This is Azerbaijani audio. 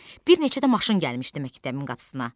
Bir neçə də maşın gəlmişdi məktəbin qapısına.